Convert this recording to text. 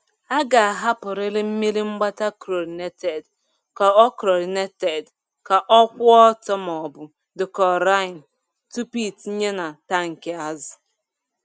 A ga-ahapụrịrị mmiri mgbata chlorinated ka ọ chlorinated ka ọ kwụ ọtọ maọbụ dechlorin tupu ịtinye na tankị azụ.